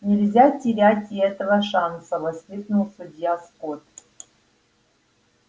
но нельзя терять и этого шанса воскликнул судья скотт